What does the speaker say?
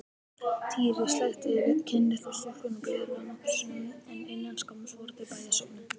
Týri sleikti kinn litlu stúlkunnar blíðlega nokkrum sinnum en innan skamms voru þau bæði sofnuð.